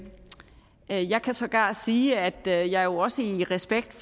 jeg i jeg kan sågar sige at jeg jeg også i respekt